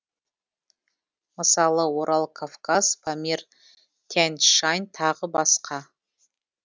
мысалы орал кавказ памир тянь шань тағы басқа